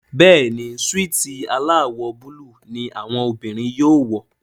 Béèni Súìtì alawọ Búlúù ní àwọn obìrin yóò wọ.